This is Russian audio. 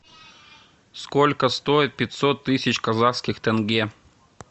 сколько стоит пятьсот тысяч казахских тенге